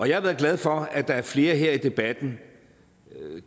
jeg har været glad for at der har været flere her i debatten